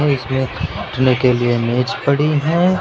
इसमें बैठने के लिए मेज पड़ी हैं।